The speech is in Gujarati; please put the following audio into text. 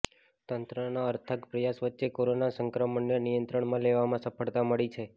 તંત્રના અર્થાગ પ્રયાસ વચ્ચે કોરોના સંક્રમણને નિયંત્રણમાં લેવામાં સફળતા મળી છે